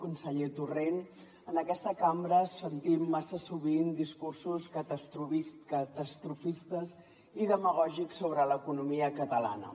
conseller torrent en aquesta cambra sentim massa sovint discursos catastrofistes i demagògics sobre l’economia catalana